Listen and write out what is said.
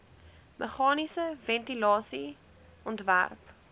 meganiese ventilasie ontwerp